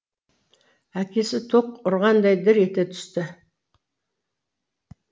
әкесі ток ұрғандай дір ете түсті